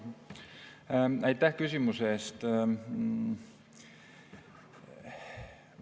Aitäh küsimuse eest!